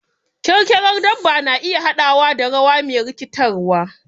Kyarkyarar dabba na iya haɗawa da rawa me rikitarwa.